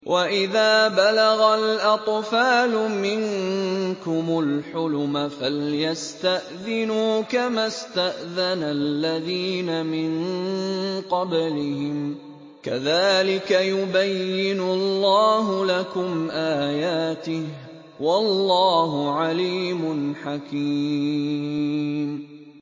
وَإِذَا بَلَغَ الْأَطْفَالُ مِنكُمُ الْحُلُمَ فَلْيَسْتَأْذِنُوا كَمَا اسْتَأْذَنَ الَّذِينَ مِن قَبْلِهِمْ ۚ كَذَٰلِكَ يُبَيِّنُ اللَّهُ لَكُمْ آيَاتِهِ ۗ وَاللَّهُ عَلِيمٌ حَكِيمٌ